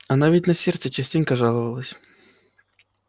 она ведь на сердце частенько жаловалась